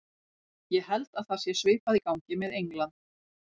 Ég held að það sé svipað í gangi með England.